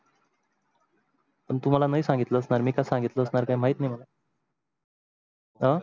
पण तुम्हाला नाही सांगितल असणार मी का सांगितल असणार का माहीत नाही. मला अं